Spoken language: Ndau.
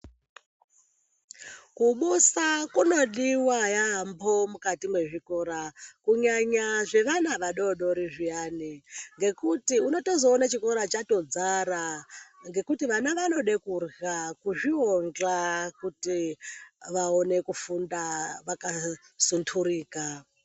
Kubusa kunodiwa yampho mukati mwezvikora kunyanya zvevana vadodori zviyani. Ngekuti unotozoona chikora chatodzara ngekuti vana vanode kurya, kuzviondla kuti vaone kufunda vakasunturika.